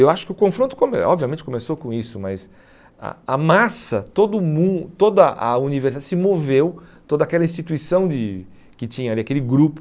Eu acho que o confronto, come obviamente, começou com isso, mas a a massa, todo o mun toda a universidade se moveu, toda aquela instituição de que tinha ali, aquele grupo.